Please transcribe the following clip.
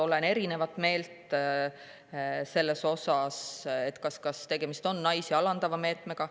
Oleme erinevat meelt selle osas, kas tegemist on naisi alandava meetmega.